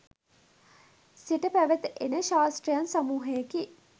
සිට පැවත එන ශාස්ත්‍රයන් සමූහයකි.